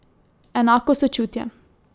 Enako sočutje.